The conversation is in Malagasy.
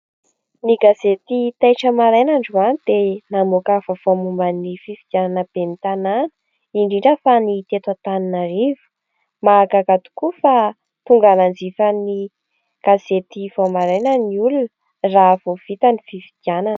Ny gazety Taitra Maraina androany dia namoaka vaovao momba ny fifidanana ben'ny tanàna indrindra fa ny teto Antananarivo, mahagaka tokoa fa tonga nanjifany gazety vao maraina ny olona raha vao vita ny fifidianana.